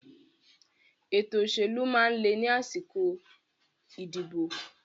Ètò òṣèlú máa ń le ni àsìkò ìdìbò